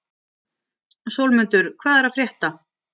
Sólmundur, hvað er að frétta?